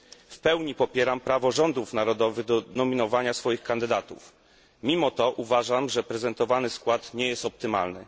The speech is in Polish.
W pełni popieram prawo rządów narodowych do nominowania swoich kandydatów, mimo to uważam, że prezentowany skład nie jest optymalny.